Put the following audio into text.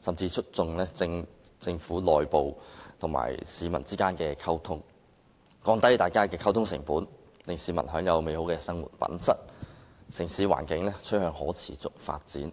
甚至促進政府內部與市民之間的溝通，降低溝通成本，提高市民的生活質素，城市環境也同時趨向可持續發展。